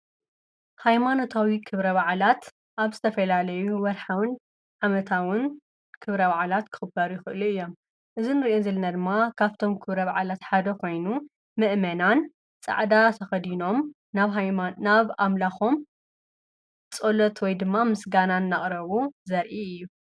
ሃይማኖታዊ ኽብረ ባዓላት ኣብ ዝተፈላለዩ ወርሓውን ዓመታውን ክብረ ባዓላት ክኹበሩ ይኽእሉ እዮም፡፡ እዚ ንሪኦ ዘለና ድማ ካብቶም ክብረ ባዓላት ሓደ ኾይኑ ምእመናን ፃዕዳ ተኸዲኖም ናብ ኣምላኾም ጸሎት ወይ ድማ ምስጋናን እናቕረቡ ዘርኢ እዩ፡፡